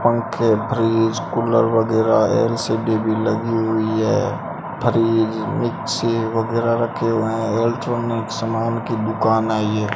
पंखे fridge cooler वगैरह LCD भी लगी हुई है फ्रिज मिक्सी वगैरह रखे हुए हैं इलेक्ट्रॉनिक सामान की दुकान है ये।